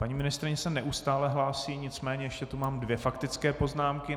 Paní ministryně se neustále hlásí, nicméně ještě tu mám dvě faktické poznámky.